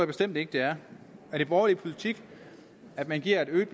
bestemt ikke det er er det borgerlig politik at man giver et øget